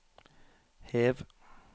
hev